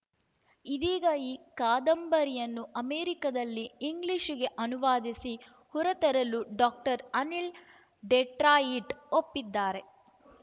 ಇದೀಗ ಈ ಕಾದಂಬರಿಯನ್ನು ಅಮೆರಿಕದಲ್ಲಿ ಇಂಗ್ಲಿಷಿಗೆ ಅನುವಾದಿಸಿ ಹೊರತರಲು ಡಾಕ್ಟರ್ ಅನಿಲ್‌ ಡೆಟ್ರಾಯಿಟ್‌ ಒಪ್ಪಿದ್ದಾರೆ